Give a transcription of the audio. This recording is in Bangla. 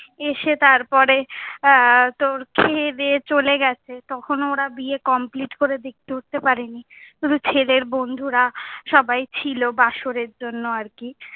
এসে তার পরে এর তোর খেয়ে দেয়ে চলে গেছে। তখনও ওরা বিয়ে complete করে দেখতে উঠতে পারেনি। শুধু ছেলের বন্ধুরা সবাই ছিলো বাসরের জন্য আর কি।